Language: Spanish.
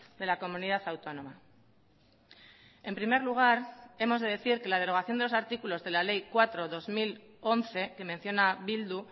de la comunidad autónoma en primer lugar hemos de decir que la derogación de los artículos de la ley cuatro barra dos mil once que menciona bildu